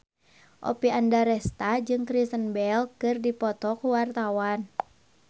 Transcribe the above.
Oppie Andaresta jeung Kristen Bell keur dipoto ku wartawan